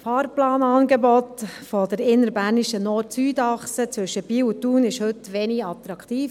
Das Fahrplanangebot der innerbernischen NordSüd-Achse zwischen Biel und Thun ist heute wenig attraktiv;